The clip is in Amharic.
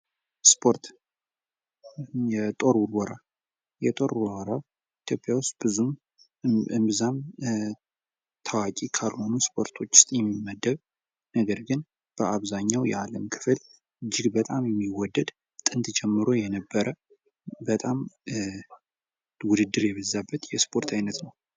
ስፖርት የጦር ውርወራ ኢትዮጵያ ውስጥ ብዙም እምብዛም ታዋቂ ካልሆኑ ስፖርቶች ውስጥ የሚመደብ ነገር ግን፤ በአብዛኛው የዓለም ክፍል እጅግ በጣም የሚወደድ ጥንት ጀምሮ የነበረ በጣም ውድድር የበዛበት የስፖርት ዓይነት ነው።